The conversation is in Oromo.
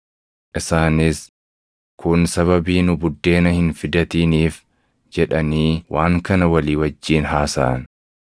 Isaanis, “Kun sababii nu buddeena hin fidatiniif” jedhanii waan kana walii wajjin haasaʼan.